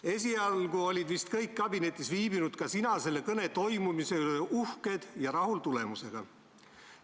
Esialgu olid vist kõik kabinetis viibinud, ka sina, selle kõne toimumise üle uhked ja tulemusega rahul.